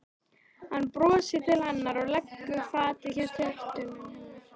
Hann brosir til hennar og leggur fatið hjá tertunni hennar.